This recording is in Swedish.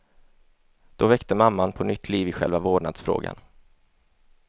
Då väckte mamman på nytt liv i själva vårdnadsfrågan.